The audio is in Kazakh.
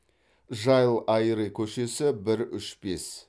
жайылайри көшесі бір үш бес